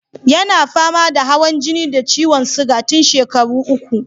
Yana fama da hawan jini da ciwon siga tun shekaru uku.